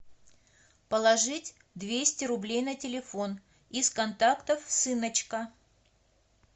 положить двести рублей на телефон из контактов сыночка